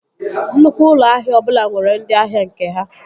Nnukwu ụlọ ahịa ọbụla nwere ndị ahịa nke ha